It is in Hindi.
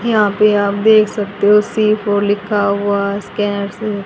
यहां पे आप देख सकते हो सी फोर लिखा हुआ